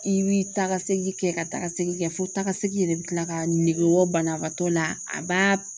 I bi taa ka segin kɛ ka taa ka segin kɛ fo taaga segin yɛrɛ bɛ kila ka nege bɔ banabaatɔ la a b'a